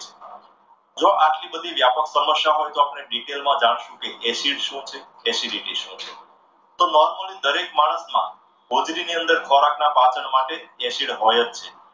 જો આટલી બધી વ્યાપક સમસ્યા હોય તો આપણે detail માં જાણશો કે acid શું છે? acidity શું છે? તો normal દરેક માણસમાં ઓજડી ની અંદર ખોરાક ના પાચન માટે acid હોય જ છે.